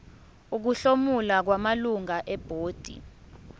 ukuhlomula kwamalungu ebhodi